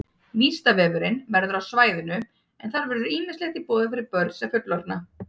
Vísindavefurinn verður á svæðinu en þar verður ýmislegt í boði fyrir börn sem fullorðna.